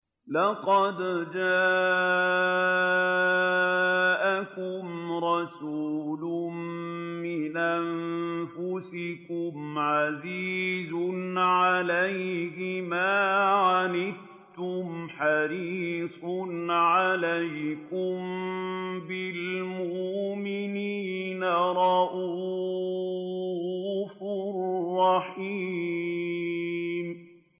لَقَدْ جَاءَكُمْ رَسُولٌ مِّنْ أَنفُسِكُمْ عَزِيزٌ عَلَيْهِ مَا عَنِتُّمْ حَرِيصٌ عَلَيْكُم بِالْمُؤْمِنِينَ رَءُوفٌ رَّحِيمٌ